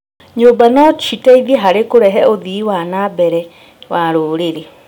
Nyũmba no citeithie harĩ kũrehe ũthii wa na mbere wa rũrĩrĩ.